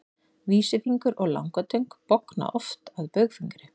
vísifingur og langatöng bogna oft að baugfingri